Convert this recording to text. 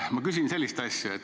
Ma küsin sellist asja.